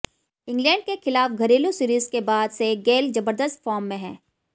England के खिलाफ घरेलू सीरीज के बाद से गेल जबरदस्त फॉर्म में हैं